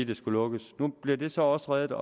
det skulle lukkes nu bliver det så også reddet